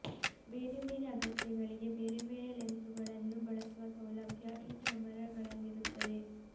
ಬೇರೆ ಬೇರೆ ಅಗತ್ಯಗಳಿಗೆ ಬೇರೆಬೇರೆ ಲೆನ್ಸುಗಳನ್ನು ಬಳಸುವ ಸೌಲಭ್ಯ ಈ ಕ್ಯಾಮೆರಾಗಳಲ್ಲಿರುತ್ತದೆ